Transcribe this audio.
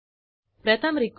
असा error message दिसेल